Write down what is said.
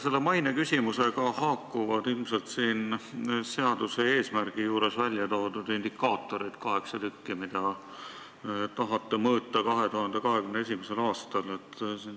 Selle maineküsimusega haakuvad ilmselt siin seaduse eesmärgi juures välja toodud indikaatorid , mida tahate 2021. aastal mõõta.